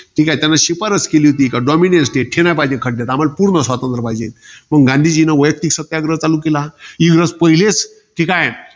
ठीके, त्यानं शिफारस केली. कि, dominance state हे नाही पाहिजे खड्यात. आम्हाला पूर्ण स्वातंत्र्य पाहिजे. मग गांधीजींनी वैयक्तिक सत्याग्रह चालू केला. इंग्रज पहिलेच. ठीकाय.